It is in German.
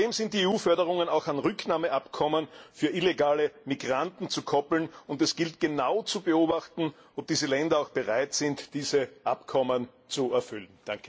Zudem sind die EU Förderungen auch an Rücknahmeabkommen für illegale Migranten zu koppeln, und es gilt, genau zu beobachten, ob diese Länder auch bereit sind, diese Abkommen zu erfüllen.